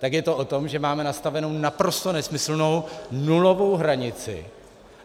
Tak je to o tom, že máme nastavenou naprosto nesmyslnou nulovou hranici.